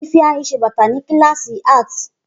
Ifeanyi ṣe bata ni kilasi Art.